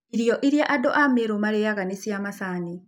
Irio iria andũ a Meru marĩaga nĩ cia macani.